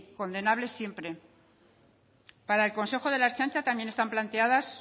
condenables siempre para el consejo de la ertzaintza también están planteados